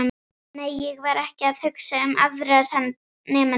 Nei, ég var ekki að hugsa um aðra nemendur.